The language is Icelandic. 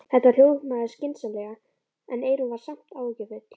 Þetta hljómaði skynsamlega en Eyrún var samt áhyggjufull.